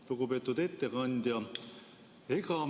Lugupeetud ettekandja!